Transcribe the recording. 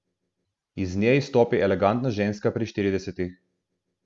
Iz nje izstopi elegantna ženska pri štiridesetih.